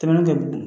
Tɛmɛnen ka bon